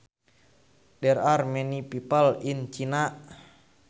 There are many people in China